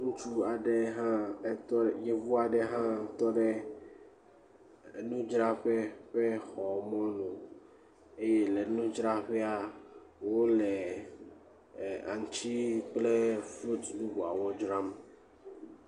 Ŋutsu aɖe ha, yevu aɖe hã tɔ ɖe nudzraƒe ƒe xɔ mɔnu eye le nudzraƒea wole aŋuti kple fruti bubuawo dzram.